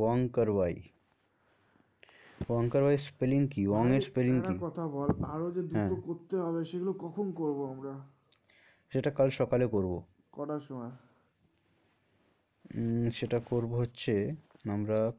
উম সেটা করবো হচ্ছে আমরা করবো হম সেটা আমাদের